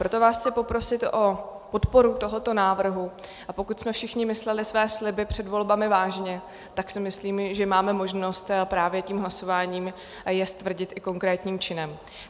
Proto vás chci poprosit o podporu tohoto návrhu, a pokud jsme všichni mysleli své sliby před volbami vážně, tak si myslím, že máme možnost právě tím hlasováním je stvrdit i konkrétním činem.